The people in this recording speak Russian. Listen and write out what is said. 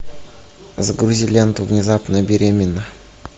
загрузи ленту внезапно беременна